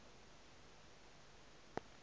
go ya go se se